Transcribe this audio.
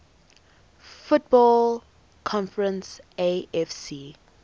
football conference afc